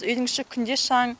үйдің іші күнде шаң